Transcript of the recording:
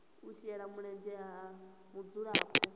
u shela mulenzhe ha mudzulapo